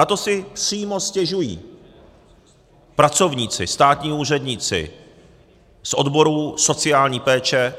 Na to si přímo stěžují pracovníci, státní úředníci z odborů sociální péče